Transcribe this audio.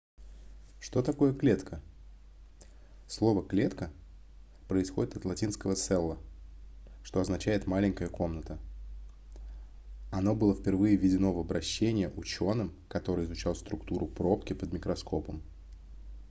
что такое клетка слово клетка происходит от латинского cella что означает маленькая комната оно было впервые введено в обращение учёным который изучал структуру пробки под микроскопом